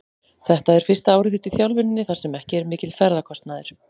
Þetta er fyrsta árið þitt í þjálfuninni þar sem ekki er mikill ferðakostnaður?